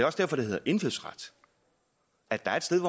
også derfor det hedder indfødsret at der er et sted